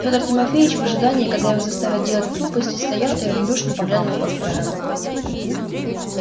федор тимофеич в ожидании когда его заставят делать глупости стоял и равнодушно поглядывал по сторонам